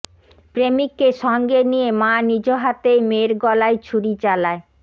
প্রেমিককে সঙ্গে নিয়ে মা নিজ হাতেই মেয়ের গলায় ছুরি চালায়